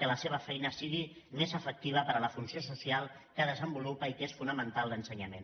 colseva feina sigui més efectiva per a la funció social que desenvolupa i que és fonamental l’ensenyament